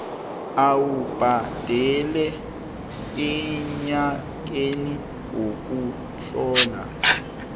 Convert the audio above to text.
awubhadele enyakeni wokuhlola